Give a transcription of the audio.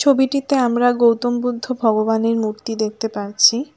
ছবিটিতে আমরা গৌতম বুদ্ধ ভগবানের মূর্তি দেখতে পাচ্ছি।